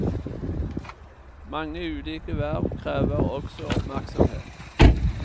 Mange ulike verv krever også oppmerksomhet.